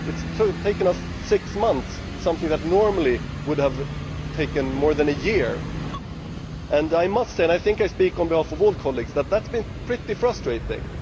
it has taken us six months to do something that normally would have taken more than a year. I must say and I think I speak for all colleagues that this has been pretty frustrating.